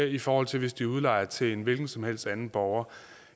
i forhold til hvis de udlejer til en hvilken som helst anden borger